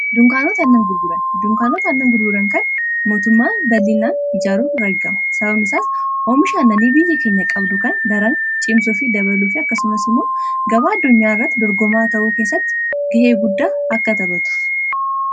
Dunkaanota aannan gurguran. dunkaanota aannan gurguran kan mootummaan baay'inaan ijaaruun argama sababni isaas oomisha annanii biyya keenya qabdu kan daran cimsuu fi dabaluu fi akkasumas immoo gabaa addunyaa irratti dorgomaa ta'uu keessatti ga'ee guddaa akka taphatuf.